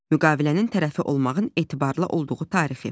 Müqavilənin tərəfi olmağın etibarlı olduğu tarixi.